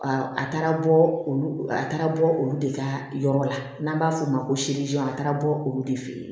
A taara bɔ olu a taara bɔ olu de ka yɔrɔ la n'an b'a fɔ o ma ko a taara bɔ olu de fɛ yen